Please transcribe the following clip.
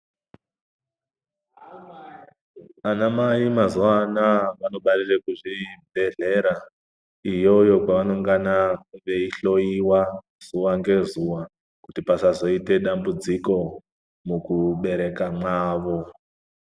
Ana mai mazuvawa anaya vanobarira kuzvibhedhlera iyoyo kwavanongana veihloiwa zuwa ngezuwa kuti pasazoite dambudziko mukubereka mwawo.